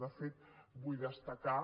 de fet vull destacar